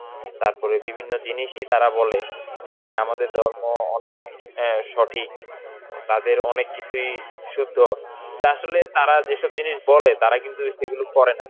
তারপরে বিভিন্ন জিনিসই তারা বলে যে হ্যাঁ আমাদের দল ম~ অনেক অ্যাঁ সঠিক, ও তাদের অনেক কিছুই শুদ্ধ, আসলে তারা যেসব জিনিস বলে, তারা কিন্তু সেগুলো করে নাই.